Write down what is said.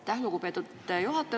Aitäh, lugupeetud juhataja!